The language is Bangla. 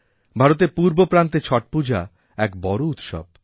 ভারতের পূর্ব প্রান্তেছট পূজা এক বড় উৎসব